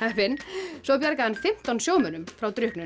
heppinn svo bjargaði hann fimmtán sjómönnum frá drukknun